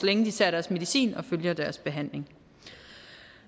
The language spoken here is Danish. længe de tager deres medicin og følger deres behandling